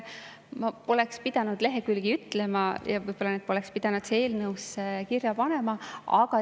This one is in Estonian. Ma poleks pidanud lehekülgi ütlema ja võib-olla neid poleks pidanud ka kirja panema.